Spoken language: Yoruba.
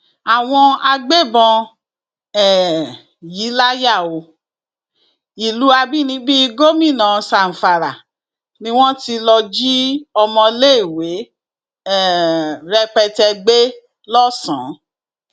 àwọn agbébọn um yìí láyà o ìlú àbínibí gómìnà zamfara ni wọn ti lọọ jí ọmọléèwé um rẹpẹtẹ gbé lọsàn